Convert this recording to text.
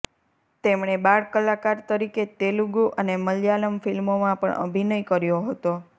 તેમણે બાળકલાકાર તરીકે તેલુગુ અને મલયાલમ ફિલ્મોમાં પણ અભિનય કર્યો હતો